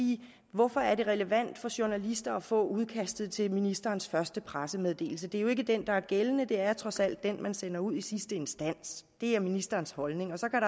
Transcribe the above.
hvorfor er det relevant for journalister at få udkastet til ministerens første pressemeddelelse det er jo ikke den der er gældende det er trods alt den man sender ud i sidste instans det er ministerens holdning og så kan